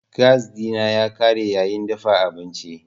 Gas dina ya kare yayin dafa abinci.